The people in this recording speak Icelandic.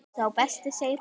Sá besti segir hún.